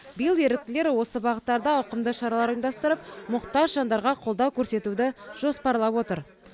биыл еріктілер осы бағыттарда ауқымды шаралар ұйымдастырып мұқтаж жандарға қолдау көрсетуді жоспарлап отыр